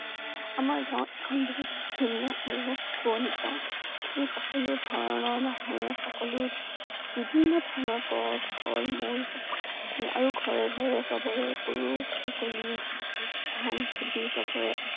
আমাৰ গাওঁ এখন বহুত ধুনীয়া আৰু শুৱনি গাওঁ। ই সকলো ধৰণৰ মানুহ সকলো বিভিন্ন ধৰণৰ গছ, ফল মূল সকলো আৰু ঘৰে ঘৰে চবৰে গৰু ছাগলী ধান খেতি সবিৰে আছে